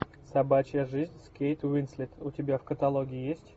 собачья жизнь с кейт уинслет у тебя в каталоге есть